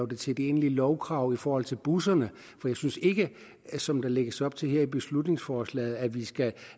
det til et egentligt lovkrav i forhold til busserne for jeg synes ikke som der lægges op til her i beslutningsforslaget at vi skal